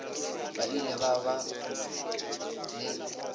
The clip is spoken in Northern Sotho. ba ile ba ba le